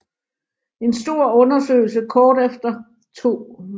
En stor undersøgelse kort efter 2